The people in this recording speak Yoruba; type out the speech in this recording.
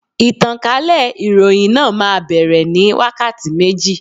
Ìtànkálẹ̀ ìròhìn náà má bere ní wákàtí méjì.